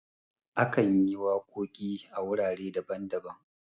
akan yi waƙoƙi a wurare daban-daban